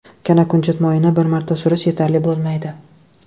Kanakunjut moyini bir marta surish yetarli bo‘lmaydi.